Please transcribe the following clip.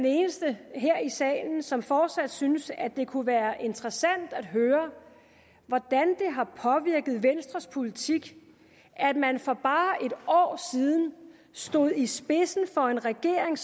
jeg er i salen som fortsat synes at det kunne være interessant at høre hvordan det har påvirket venstres politik at man for bare en år siden stod i spidsen for en regering